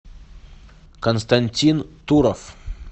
константин туров